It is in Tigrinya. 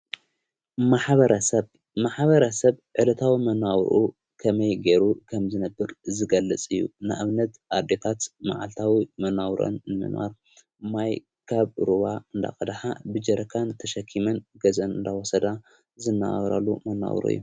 ማሓበረሰብ መሓበረሰብ ዕለታዊ መናውሩዑ ኸመይ ገይሩ ኸም ዝነብር ዝገልጽ እዩ ንእብነት ኣዴታት መዓልታዊ መናውርዐን ንምንዋር ማይ ካብ ሩዋ እንዳቐድኃ ብጀረካን ተሸኪመን ገዘን እንዳወሰዳ ዝነበራሉ መነውሩ እዮ።